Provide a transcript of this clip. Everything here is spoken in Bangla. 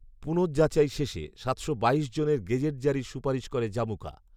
পুনঃযাচাই শেষে সাতশো বাইশ জনের গেজেট জারির সুপারিশ করে জামুকা